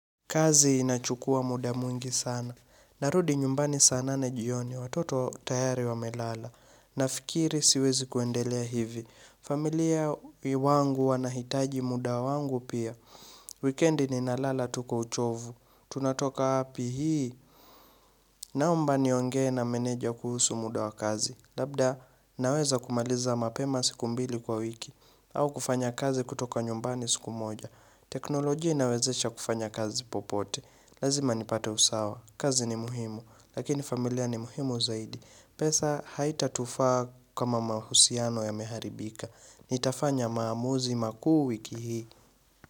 Kazi inachukua muda mwingi sana. Narudi nyumbani saa nane jioni watoto tayari wa melala. Nafikiri siwezi kuendelea hivi. Familia wangu wanahitaji muda wangu pia. Weekendi ni na lala tukwa uchovu. Tunatoka wapi hii? Naomba nionge na meneja kuhusu muda wa kazi. Labda naweza kumaliza mapema siku mbili kwa wiki. Au kufanya kazi kutoka nyumbani siku moja. Teknolojia inawezesha kufanya kazi popote. Lazima nipate usawa. Kazi ni muhimu. Lakini familia ni muhimu zaidi. Pesa haita tufaa kama mahusiano ya meharibika. Nitafanya maamuzi makuu wiki hii.